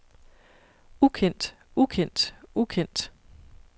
ukendt ukendt ukendt